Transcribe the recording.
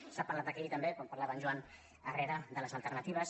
s’ha parlat aquí també quan parlava en joan herrera de les alternatives